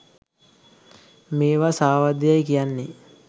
මේවා සාවද්‍ය යැයි කියන්නේ